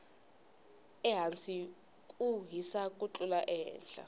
ehasi ku hisa ku tlula ehehla